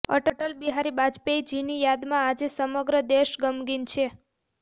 અટલ બિહારી વાજપેયી જી ની યાદમાં આજે સમગ્ર દેશ ગમગીન છે